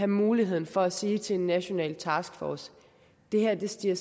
muligheden for at sige til en national taskforce det her stiger